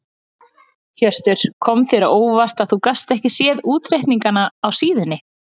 Hjörtur: Kom þér á óvart að þú gast ekki séð útreikningana á síðunni?